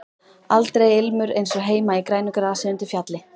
Aldrei ilmur eins og heima í grænu grasi undir fjalli.